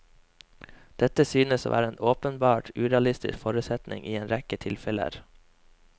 Dette synes å være en åpenbart urealistisk forutsetning i en rekke tilfeller.